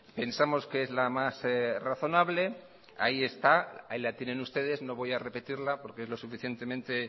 pensamos que es la más razonable ahí está ahí la tienen ustedes no voy a repetirla porque es lo suficientemente